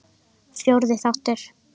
Fjórði þáttur